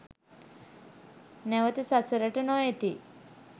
නැවත සසරට නොඑති.